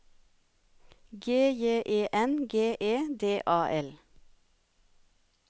G J E N G E D A L